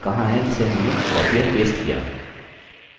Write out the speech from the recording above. वो बादल कहाँ है जिसे हमने copied और pasted किया